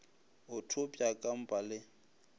o thopša ka mpa le